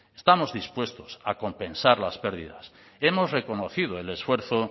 estamos dispuestos a compensar las pérdidas hemos reconocido el esfuerzo